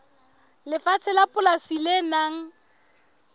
lefatshe la polasi le nang